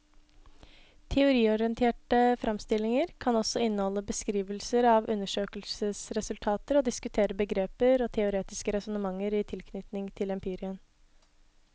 Teoriorienterte fremstillinger kan også inneholde beskrivelser av undersøkelsesresultater og diskutere begreper og teoretiske resonnementer i tilknytning til empirien.